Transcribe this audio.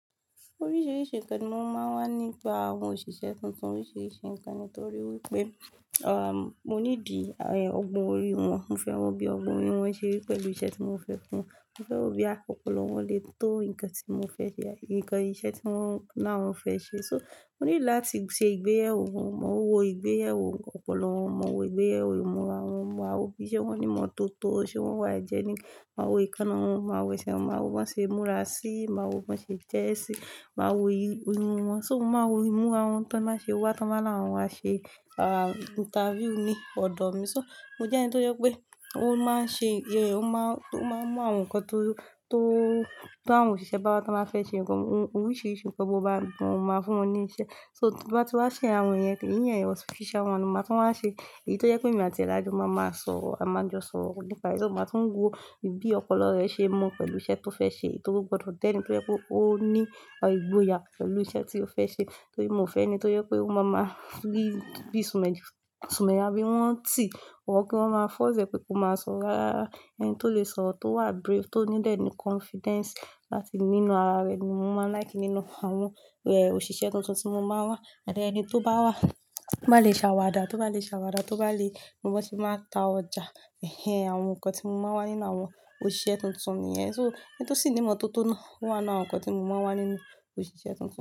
Oríṣiríṣi ǹkan ni mo máa ń ni nípa àwọn òṣìṣẹ́ tuntun. Oríṣiríṣi ǹkan ni torí wípé, à, mo ní dì, ẹ, ọgbọ́n orí wọn. Mo fẹ́ wọ bí ọgbọ́n orí wọn ṣe rí pẹ̀lú iṣẹ́ tí mo fẹ́ fún wọn. Mo fẹ́ wo bóyá àpọpọlọ wọn lè tó ǹkan tí mo fẹ́ ṣe ǹkan iṣẹ́ tí wọ́n, náà wọn lawọn fẹ́ ṣe. So mo need làtí ṣe ìgbéyàwó wọn, mo wo ìgbéyàwó ọ̀pọ̀lọpọ̀ wọn, mo wo ìgbéyàwó ìmúra wọn, màá wo bí iṣẹ́ wọn ní ìmọ́tótó, ṣé wọ́n wà hygienic, màá wo eekáná wọn, màá wo ẹsẹ̀ wọn, màá wo bí wọ́n ṣe múra sí, màá wo bí wọ́n ṣe jẹ́ ẹ́ sí, màá wo imú wọn. So mo máa wo imúra wọn tí wọ́n máa ṣe wá, tí wọ́n máa láwọn a ṣe, à, interview ní ọ̀dọ̀ mi. So mo jẹ́ ẹni tó yẹ pé ó máa ń ṣe, ẹ, ó máa, ó máa mú àwọn ǹkan tó, tó, tó àwọn òṣìṣẹ́ bá wá tí wọ́n bá fẹ́ ṣe ǹkan, oríṣiríṣi ǹkan bó ba wá, mo máa fún wọn ní iṣẹ́. So, tí wọ́n bá ti wá ṣe àwọn yẹn, kí ẹ̀yin ẹni official one, mo máa tó máa ṣe èyí tó yẹ pé èmi àti alájọbá máa ma sọ àmàjọ sọ̀rọ̀ nípa ẹ. Mo máa tún wo bí ọ̀pọ̀lọpọ̀ rẹ̀ ṣe mọ̀ pẹ̀lú iṣẹ́ tó fẹ́ ṣe, kí ó tó gbọdọ̀ jẹ́ni tó yẹ kó ó ní ìgboyà pẹ̀lú iṣẹ́ tí ó fẹ́ ṣe. Torí mo fẹ́ ẹni tó yẹ kó ó máa ma free, bí i sùmẹ́, sùmẹ́yà bí i wọn tì, wọ́n kí wọ́n máa force e pé kó máa sọ rárá. Ẹni tó lè sọro, tó wà brave, tó ní dẹ̀nì confidence láti nínú ara rẹ̀ ni mo máa ń like nínú àwọn, ẹ, òṣìṣẹ́ tuntun tí mo máa ń wá. And ẹni tó bá wá, bá le ṣàwàdà, tó bá le ṣàwàdà, tó bá le, ló bá ti máa ta ọjà,, àwọn ǹkan tí mo máa ń wá nínú àwọn òṣìṣẹ́ tuntun yẹn. So ẹni tó sì ní ìmọ́tótó náà wà nínú àwọn ǹkan tí mo máa ń wá nínú òṣìṣẹ́ tuntun.